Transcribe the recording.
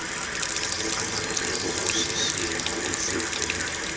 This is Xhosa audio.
samacebo oshishino esivunywe